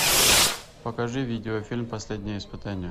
покажи видеофильм последнее испытание